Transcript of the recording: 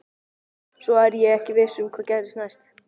Svo er ég ekki viss um hvað gerist næst.